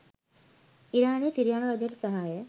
ඉරානය සිරියානු රජයට සහාය